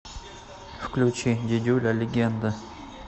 включи дидюля легенда